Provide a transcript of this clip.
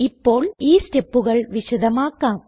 ഇപ്പോൾ ഈ സ്റ്റെപ്പുകൾ വിശദമാക്കാം